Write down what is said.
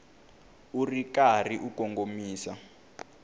u ri karhi u kongomisa